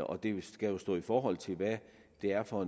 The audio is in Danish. og det skal stå i forhold til hvad det er for